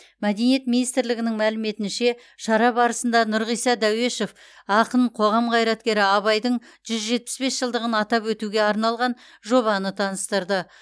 мәдениет министрлігінің мәліметінше шара барысында нұрғиса дәуешов ақын қоғам қайраткері абайдың жүз жетпіс бес жылдығын атап өтуге арналған жобаны таныстырды